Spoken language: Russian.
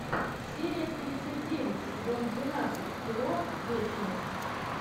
серия тридцать девять сезон двенадцать кино вечность